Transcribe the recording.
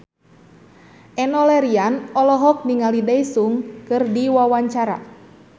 Enno Lerian olohok ningali Daesung keur diwawancara